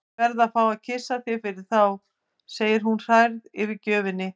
Ég verð að fá að kyssa þig fyrir þá, segir hún hrærð yfir gjöfinni.